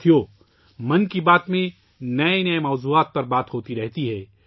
ساتھیو ، 'من کی بات' میں نئے نئے موضوعات پر بات ہوتی رہتی ہے